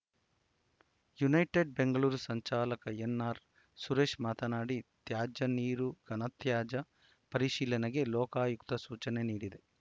United Bengaluru ಸಂಚಾಲಕ N R Suresh ಮಾತನಾಡಿ ತ್ಯಾಜ್ಯ ನೀರು ಘನತ್ಯಾಜ್ಯ ಪರಿಶೀಲನೆಗೆ ಲೋಕಾಯುಕ್ತ ಸೂಚನೆ ನೀಡಿದೆ